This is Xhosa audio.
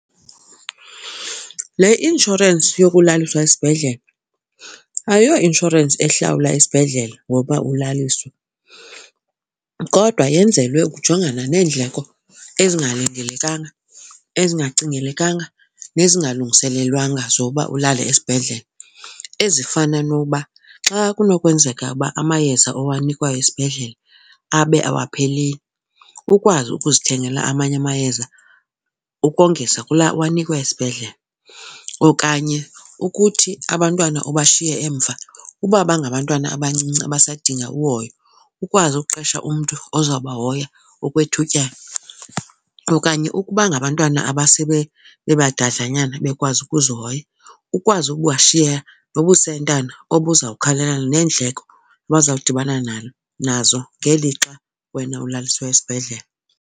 Le inshorensi yokulaliswa esibhedlele ayoinshorensi ehlawula isibhedlele ngokuba ulaliswe. Kodwa yenzelwe ukujongana neendleko ezingalindelekanga, ezingacingelenkanga nezingalungiselelwanga zokuba ulale esibhedlele ezifana nokuba xa kunokwenzeka uba amayeza owenziwayo esibhedlele abe awapheleli, ukwazi ukuzithengela amanye amayeza ukongeza kulaa uwanikwe esibhedlele. Okanye ukuthi abantwana obashiye emva uba bangabantwana abancinci basadinga uhoyo, ukwazi ukuqesha umntu ozawubahoya okwethutyana okanye ukuba ngabantwana bebadlanyana bekwazi ukuzihoya, ukwazi ubashiyeka nobusentana obuzawukhawulelana neendleko abazawudibana nalo nazo ngelixa wena ulaliswe esibhedlele.